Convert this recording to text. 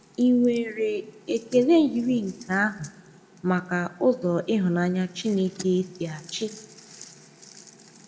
Ì nwere ekele yiri nke ahụ maka ụzọ ịhụnanya Chineke si achị?